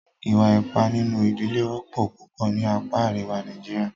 Ìwà ipá nínú ìdílé wọ́pọ̀ púpọ̀ ní apá àríwá Nàìjíríà.